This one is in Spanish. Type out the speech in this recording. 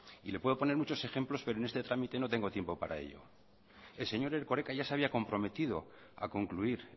y le puedo poner muchos ejemplos pero en este trámite no tengo tiempo para ello el señor erkoreka ya se había comprometido a concluir